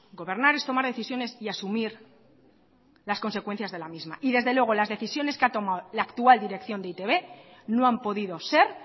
gobernar es tomar decisiones y asumir las consecuencias de la misma y desde luego las decisiones que ha tomado la actual dirección de e i te be no han podido ser